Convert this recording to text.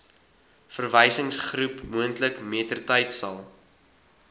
verwysingsgroep moontlik mettertydsal